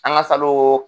An ka salon